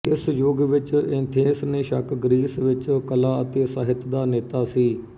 ਇਸ ਯੁੱਗ ਵਿੱਚ ਏਥੇਂਸ ਨਿ ਸ਼ੱਕ ਗਰੀਸ ਵਿੱਚ ਕਲਾ ਅਤੇ ਸਾਹਿਤ ਦਾ ਨੇਤਾ ਸੀ